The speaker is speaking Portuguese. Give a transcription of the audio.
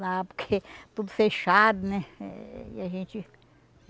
Lá porque tudo fechado, né? Eh e a gente